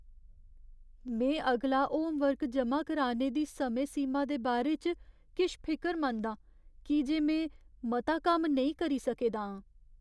में अगला होमवर्क जमा कराने दी समें सीमा दे बारे च किश फिकरमंद आं की जे में मता कम्म नेईं करी सके दा आं।